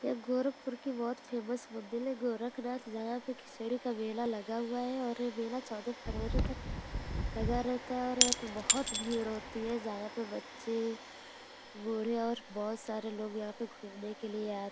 ये गोरखपुर की बहोत फेमस मंदिल है गोरखनाथ| जहाँ पे खिचड़ी का मेला लगा हुआ है और ये मेला चौदह फरवरी तक लगा रहता है और यहाँ पे बहोत भीड़ होती है| जहाँ पे बच्चे बूढ़े और बहोत सारे लोग यहाँ पे घूमने के लिए आ --